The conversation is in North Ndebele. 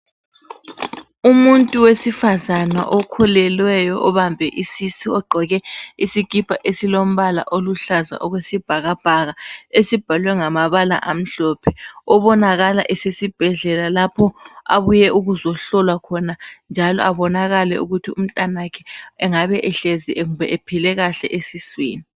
Umuntu wesifazana okhulelweyo obambe isisu, ogqoke isikipa esilombala oluhlaza okwesibhakabhaka esibhalwe ngamabala amhlophe obonakala esibhedlela lapho abuye ukuzohlolwa khona, njalo abonakale ukuthi umntanakhe engabe ehlezi ephile kahle esiswini.